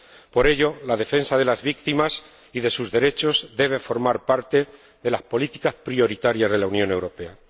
Por ello, la defensa de las víctimas y de sus derechos debe formar parte de las políticas prioritarias de la Unión Europea.